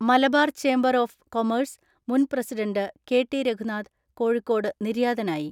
Malabar chamber of commerce മുൻ president, കെ.ടി.രഘുനാഥ് Kozhikode നിര്യാതനായി.